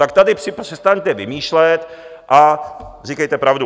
Tak tady přestaňte vymýšlet a říkejte pravdu.